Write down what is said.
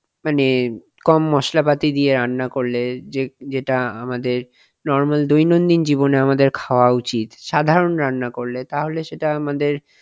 মানে কম মশলাপাতি দিয়ে রান্না করলে যে~ যেটা আমাদের normal দৈনন্দিন জীবনে আমাদের খাওয়া উচিত সাধারন রান্না করলে তাহলে সেটা আমাদের,